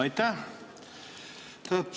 Aitäh!